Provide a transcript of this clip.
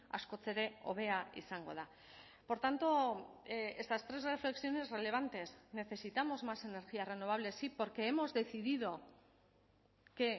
askoz ere hobea izango da por tanto estas tres reflexiones relevantes necesitamos más energías renovables sí porque hemos decidido que